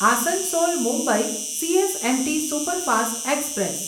Asansol Mumbai CSMT superfast express